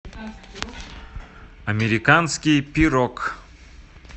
американский пирог